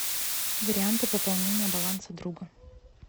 варианты пополнения баланса друга